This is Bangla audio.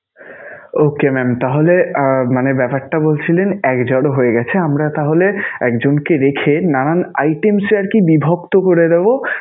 Okay mam তাহলে আহ ব্যাপারটা বলছিলেন, একজরো হয়ে গেছে. আমরা তাহলে একজনকে রেখে নানান items এ আরকি বিভক্ত করে দেবো